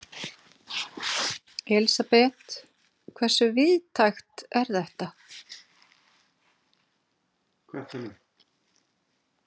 Elísabet, hversu víðtækt er þetta?